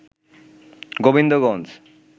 Gobindaganj